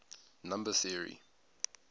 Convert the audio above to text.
number theory